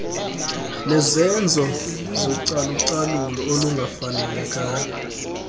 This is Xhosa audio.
nezenzo zocalucalulo olungafanelekanga